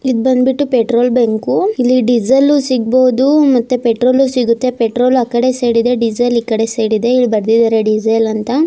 ಇದ್ ಬಂದ್ಬಿಟ್ಟು petrol bunk ಇಲ್ಲಿ ಡೀಸೆಲ್ಲು ಸಿಗಬಹುದು ಮತ್ತೆ ಪೆಟ್ರೋಲು ಸಿಗುತ್ತೆ ಪೆಟ್ರೋಲ ಆ ಕಡೆ ಸೈಡ್ ಇದೆ ಡೀಸೆಲ್ ಈ ಕಡೆ ಸೈಡ್ ಇದೆ ಇಲ್ಲಿ ಬರ್ದಿದಾರೆ ಡೀಸೆಲ್ ಅಂತ.